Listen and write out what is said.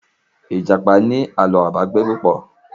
ìjàpá ní Àló̩ àpagbè púpọ